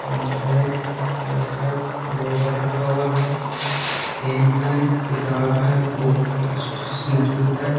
Paint है pillar है global रखा हुआ है पेन है किताब है बुक है स्टेशनरी है।